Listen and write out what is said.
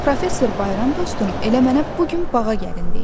Professor Bayram dostum elə mənə bu gün bağa gəlin deyib.